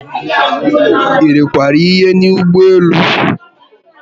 Irikwara ihe n'ụgbọelu?